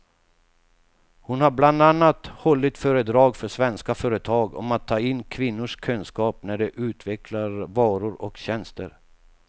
Hon har bland annat hållit föredrag för svenska företag om att ta in kvinnors kunskap när de utvecklar varor och tjänster.